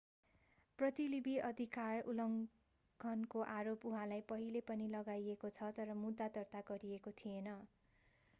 प्रतिलिपि अधिकार उल्लङ्घनको आरोप उहाँलाई पहिले पनि लगाइएको छ तर मुद्दा दर्ता गरिएको थिएन